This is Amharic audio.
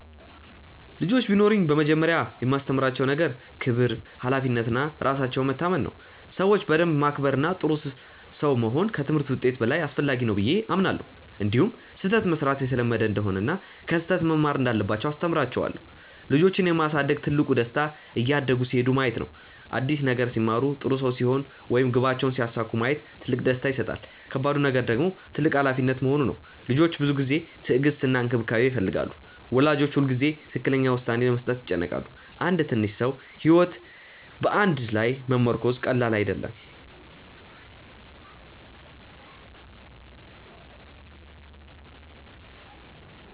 ልጆች ቢኖሩኝ በመጀመሪያ የማስተምራቸው ነገር ክብር፣ ሀላፊነት እና ራሳቸውን መታመን ነው። ሰዎችን በደንብ ማክበር እና ጥሩ ሰው መሆን ከትምህርት ውጤት በላይ አስፈላጊ ነው ብዬ አምናለሁ። እንዲሁም ስህተት መሥራት የተለመደ እንደሆነ እና ከስህተት መማር እንዳለባቸው አስተምራቸዋለሁ። ልጆችን የማሳደግ ትልቁ ደስታ እያደጉ ሲሄዱ ማየት ነው። አዲስ ነገር ሲማሩ፣ ጥሩ ሰው ሲሆኑ ወይም ግባቸውን ሲያሳኩ ማየት ትልቅ ደስታ ይሰጣል። ከባዱ ነገር ደግሞ ትልቅ ሀላፊነት መሆኑ ነው። ልጆች ብዙ ጊዜ፣ ትዕግስት እና እንክብካቤ ይፈልጋሉ። ወላጆች ሁልጊዜ ትክክለኛ ውሳኔ ለመስጠት ይጨነቃሉ። አንድ ትንሽ ሰው ሕይወት በአንተ ላይ መመርኮዙ ቀላል አይደለም።